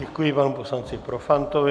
Děkuji panu poslanci Profantovi.